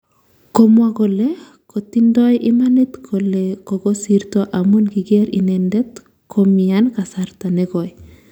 komwa kole kotindoi imanit kole kokosirto amun kiker inendet komian kasarta negoi